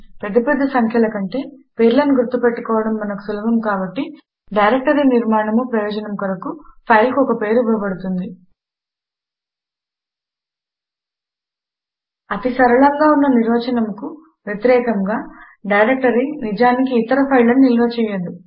పెద్ద పెద్ద సంఖ్యల కంటే పేర్లను గుర్తు పెట్టుకోవడం మనకు సులభము కాబట్టి డైరెక్టరీనిర్మాణము ప్రయోజనము కొరకు ఫైల్ కు ఒక పేరు ఇవ్వబడుతుంది అతి సరళంగా ఉన్న నిర్వచనమునకు వ్యతిరేకముగా డైరెక్టరీ నిజానికి ఇతర ఫైళ్ళను నిలువ చేయదు